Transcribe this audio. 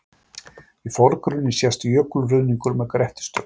í forgrunni sést jökulruðningur með grettistökum